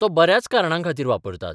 तो बऱ्याच कारणां खातीर वापरतात.